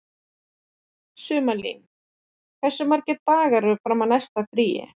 Sumarlín, hversu margir dagar fram að næsta fríi?